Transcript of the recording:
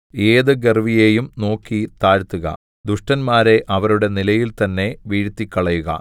ഏത് ഗർവ്വിയെയും നോക്കി താഴ്ത്തുക ദുഷ്ടന്മാരെ അവരുടെ നിലയിൽ തന്നെ വീഴ്ത്തിക്കളയുക